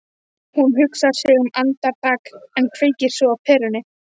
Hún hugsar sig um andartak en kveikir svo á perunni.